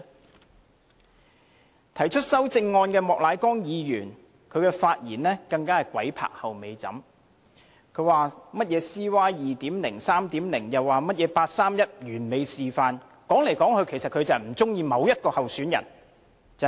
至於提出修正案的莫乃光議員，他的發言更是"鬼拍後尾枕"，他說甚麼 CY 2.0、3.0， 甚麼八三一完美示範，理由只是他不喜歡某位候選人。